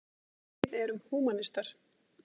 Við erum húmanistar.